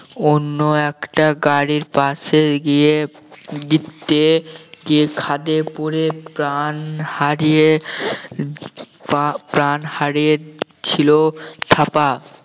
অন্য একটা গাড়ির পাশে গিয়ে গিয়ে খাদে পোড়ে প্রাণ হারিয়ে প্রা~ প্রাণ হারিয়ে ছিল থাপা